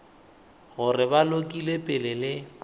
gore ba lokile pele le